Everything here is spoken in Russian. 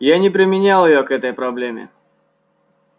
я не применял её к этой проблеме